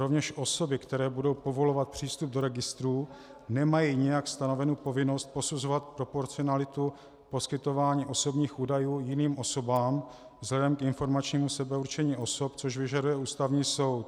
Rovněž osoby, které budou povolovat přístup do registrů, nemají nějak stanovenu povinnost posuzovat proporcionalitu poskytování osobních údajů jiným osobám vzhledem k informačním sebeurčení osob, což vyžaduje Ústavní soud.